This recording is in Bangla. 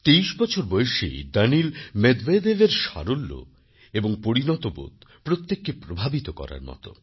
২৩বছর বয়সী দানিল মেদভেদেভএর সারল্য এবং পরিণত বোধ প্রত্যেককেই প্রভাবিত করার মত